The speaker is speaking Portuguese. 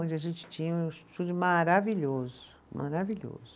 Onde a gente tinha um estúdio maravilhoso, maravilhoso, maravilhoso